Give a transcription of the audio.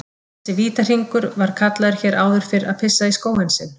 Þessi vítahringur var kallaður hér áður fyrr að pissa í skóinn sinn.